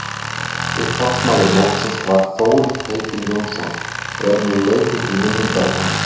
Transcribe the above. Upphafsmaður mótsins var Þórir heitinn Jónsson og er nú leikið til minningar um hann.